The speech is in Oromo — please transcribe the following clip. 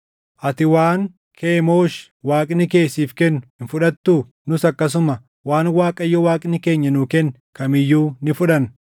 Ati waan Kemoosh Waaqni kee siif kennu hin fudhattuu? Nus akkasuma waan Waaqayyo Waaqni keenya nuu kenne kam iyyuu ni fudhanna.